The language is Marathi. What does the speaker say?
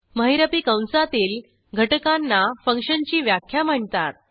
महिरपी कंसातील घटकांना फंक्शनची व्याख्या म्हणतात